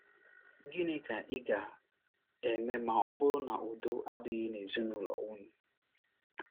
GỊNỊ ka ị ga - eme ma ọ bụrụ na udo adịghị n’ezinụlọ unu?